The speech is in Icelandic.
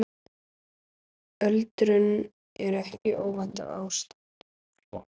Öldrun er ekki óvænt ástand.